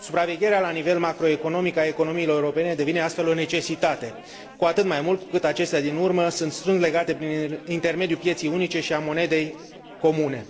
Supravegherea la nivel macroeconomic a economiilor europene devine astfel o necesitate, cu atât mai mult cu cât acestea din urmă sunt strâns legate prin intermediul pieței unice și a monedei comune.